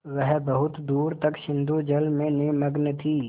वह बहुत दूर तक सिंधुजल में निमग्न थी